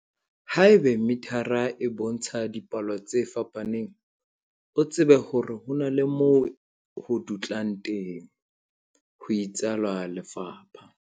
Haeba mithara e bontsha dipalo tse fapaneng, o tsebe hore ho na le moo ho dutlang teng, ho itsalo lefapha.